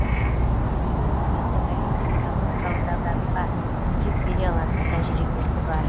себебі үкіметтің әлемдік экономикалық дағдарысқа төтеп бере алатын тәжірибесі бар